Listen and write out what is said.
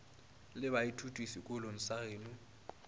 la baithuti sekolong sa geno